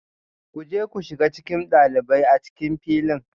Ku je ku shiga cikin ɗalibai a cikin filin